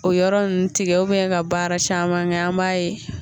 O yɔrɔ nun tigɛ ka baara saman kɛ an b'a ye